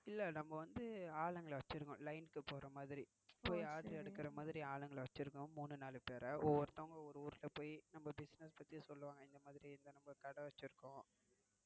இல்லை நம்ம வந்து ஆளுங்கள வச்சிருக்கோம் line இக்கு போறமாதிரி. போய் ஆர்டர் எடுக்கிற மாதிரி ஆளுங்கள வச்சிருக்கோம். மூணு நாலு பேர. ஓவருந்தங்க ஒவ்வரு ஊர்ல போய் நம்ம business பத்தி சொல்லுவாங்க இந்த மாதிரி நம்ம கடை வச்சிருக்கோம்னு